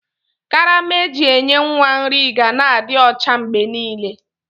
Karama eji enye nwa nri ga na adi ọcha mgbenile.